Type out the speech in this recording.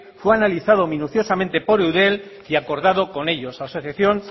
fue analizado minuciosamente por eudel y acordado con ellos asociación